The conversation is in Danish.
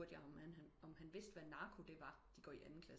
Spurgte jeg om han vidste hvad narko det var de går i anden klasse